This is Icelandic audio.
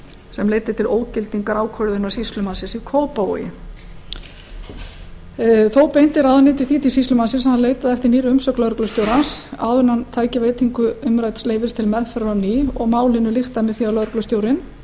sem leiddi til ógildingar ákvörðunar sýslumannsins í kópavogi þá beindi ráðuneytið því til sýslumannsins að hann leitaði eftir nýrri umsögn lögreglustjórans áður en hann tæki veitingu umrædds leyfis til meðferðar á ný málinu lyktaði með því að lögreglustjórinn á